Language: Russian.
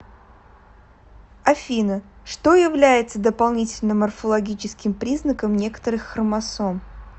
афина что является дополнительным морфологическим признаком некоторых хромосом